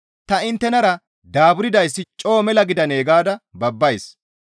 Ta inttenara daaburdayssi coo mela gidandee gaada babbays.